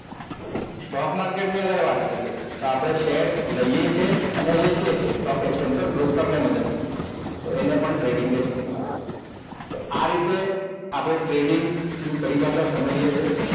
stock market ની વાત કરીએ તો આપણે shares લઈએ છે અને વેચે છે Stock Exchange પર broker મદદથી એને પણ trading જ કહેવાય તો આ રીતે આપણે trading ની પરિભાષા સમજ્યે છે